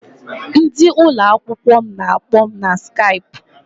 Ndị ụlọakwụkwọ m na-akpọ m na Skaipụ.